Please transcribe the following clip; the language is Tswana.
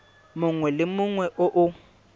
mongwe le mongwe o o